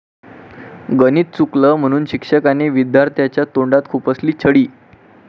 गणित चुकलं म्हणून शिक्षकाने विद्यार्थ्याच्या तोंडात खुपसली छडी